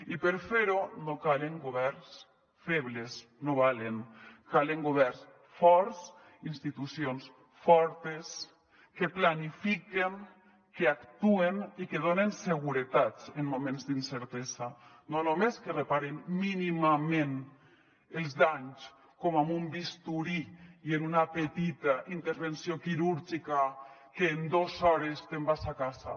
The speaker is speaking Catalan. i per fer ho no calen governs febles no valen calen governs forts institucions fortes que planifiquen que actuen i que donen seguretats en moments d’incertesa no només que reparen mínimament els danys com amb un bisturí i en una petita intervenció quirúrgica que en dos hores te’n vas a casa